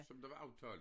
Som der var aftalt